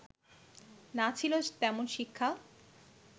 না ছিল তেমন শিক্ষা